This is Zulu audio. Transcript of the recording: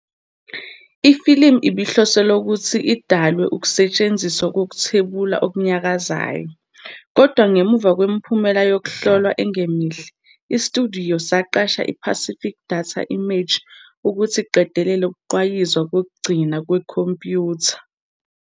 Ifilimu ibihloselwe ukuthi idalwe kusetshenziswa ukuthwebula okunyakazayo, kodwa ngemuva kwemiphumela yokuhlolwa engemihle, isitudiyo saqasha i-Pacific Data Images ukuthi iqedele ukugqwayiza kokugcina kwekhompyutha.